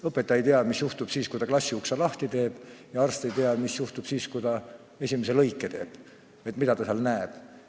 Õpetaja ei tea, mis juhtub siis, kui ta klassiukse lahti teeb, ja arst ei tea, mis juhtub siis, kui ta esimese lõike teeb – mida ta seal näeb.